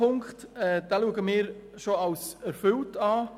Zu Ziffer 2: Wir sehen diese Forderung bereits als erfüllt an.